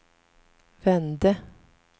vände